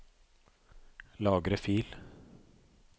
Lagre fil